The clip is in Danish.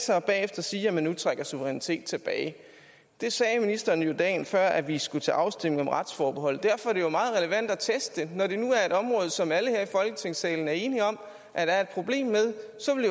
sig og bagefter sige at man nu trækker suveræniteten tilbage det sagde ministeren dagen før vi skulle til afstemning om retsforbeholdet og derfor er det jo meget relevant at teste når der nu er et område som alle her i folketingssalen er enige om at der er et problem med så vil